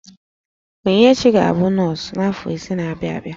Onyinyechi ga-abụ nọọsụ afọ ise na-abịa abịa